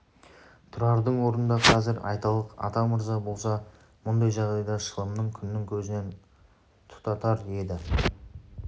тұрардың орнында қазір айталық атамырза болса мұндай жағдайда шылымын күннің көзінен тұтатар еді